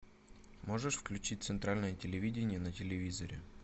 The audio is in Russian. можешь включить центральное телевидение на телевизоре